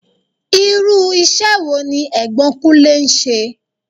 Irú ìṣe wo ní Ẹ̀gbọ́n Kunlè ń ṣe?